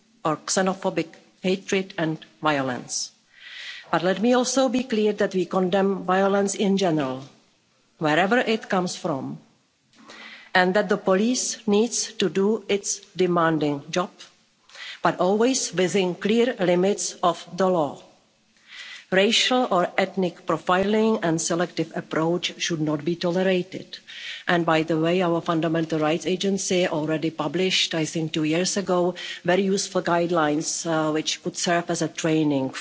or xenophobic hatred and violence. But let me also be clear that we condemn violence in general, wherever it comes from, and that the police needs to do its demanding job but always within clear limits of the law. Racial or ethnic profiling and selective approaches should not be tolerated. And, by the way, our Fundamental Rights Agency already published, I think two years ago, very useful guidelines which would serve as a training